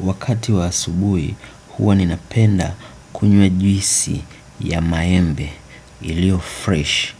Wakati wa asubui huwa ninapenda kunywa juisi ya maembe ilio fresh